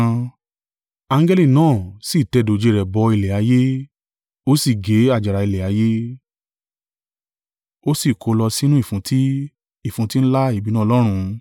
Angẹli náà sì tẹ dòjé rẹ̀ bọ ilẹ̀ ayé, ó sì gé àjàrà ilẹ̀ ayé, ó sì kó o lọ sínú ìfúntí, ìfúntí ńlá ìbínú Ọlọ́run.